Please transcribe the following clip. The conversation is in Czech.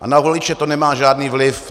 Ale na voliče to nemá žádný vliv.